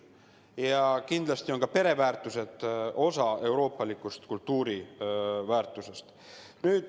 Ja kindlasti on ka pereväärtused osa euroopaliku kultuuri väärtusest.